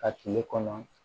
A kile kɔnɔ